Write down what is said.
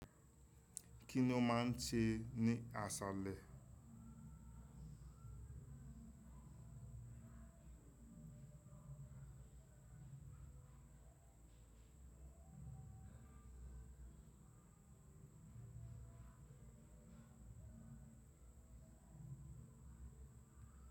Kí ni ó máa ń ṣe ní àsálẹ̀?